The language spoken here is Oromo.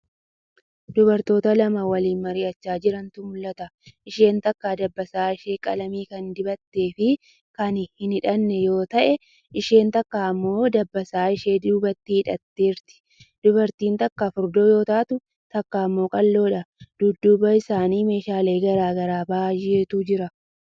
Dubartoota lama waliin mari'achaa jirantu mul'ata. Isheen takka dabbasaa ishee qalamii kan dibatte fii kan hin hidhanne yoo ta;e isheen takka immoo dabbaasaa ishee duubatti hidhatteerti. Dubartiin takka furdoo yoo taatu takka immoo qal'oodha. Dudduuba isaanii meeshaalee garagara baay'etu jira.